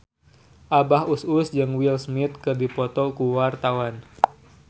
Abah Us Us jeung Will Smith keur dipoto ku wartawan